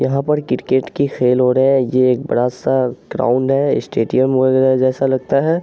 यहाँ पर क्रिकेट की खेल हो रहा है ये एक बड़ा सा ग्राउन्ड है स्टेडियम बगैरा जैसा लगता है।